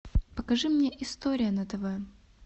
покажи мне история на тв